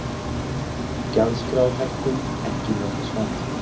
Gjaldskrárhækkun ekki lokasvar